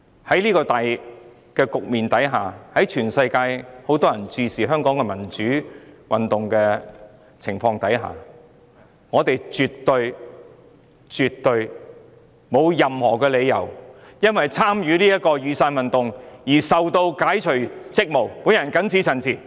在這個大環境下，當全世界均在注視香港民主運動的發展時，我們絕對沒有任何理由基於曾參與雨傘運動的原因，而解除一位議員的職務。